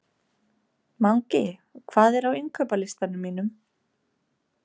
Mangi, hvað er á innkaupalistanum mínum?